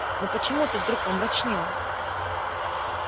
но почему ты вдруг помрачнел